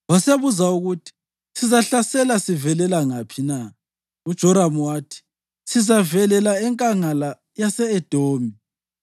Wasebuza ukuthi, “Sizahlasela sivelela ngaphi na?” UJoramu wathi “Sizavelela eNkangala yase-Edomi.”